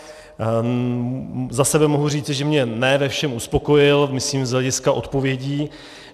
Za sebe mohu říci, že mě ne ve všem uspokojil, myslím z hlediska odpovědí.